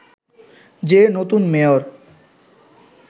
যে নতুন মেয়র